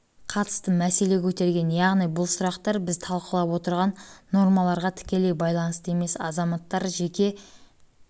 қатысты мәселе көтерген яғни бұл сұрақтар біз талқылап отырған нормаларға тікелей байланысты емес азаматтар жеке